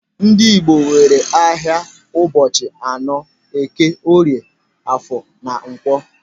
Ndị Igbo nwere ahịa ụbọchị anọ: eke, orie, afọ na nkwọ.